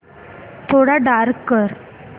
थोडा डार्क कर